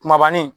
Kumabanin